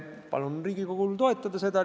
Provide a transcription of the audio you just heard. Palun Riigikogul eelnõu toetada!